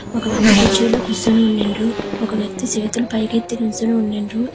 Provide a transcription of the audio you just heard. ఒక వ్యక్తి కుర్చీలో కూర్చుని ఉండిండ్రు. ఒక వ్యక్తి చేతులు పైకెత్తి నుంచొని ఉండిండ్రు.